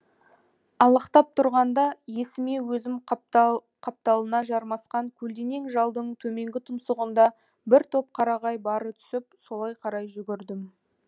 алақтап тұрғанда есіме өзім қапталына жармасқан көлденең жалдың төменгі тұмсығында бір топ қарағай бары түсіп солай қарай жүгірдім